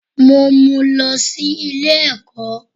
Mò n mú lọ sí Ilé èkó